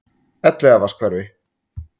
Elliðavatnshverfi